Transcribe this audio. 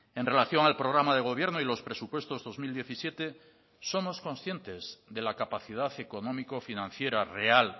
en relación al programa de gobierno y los presupuestos dos mil diecisiete somos conscientes de la capacidad económico financiera real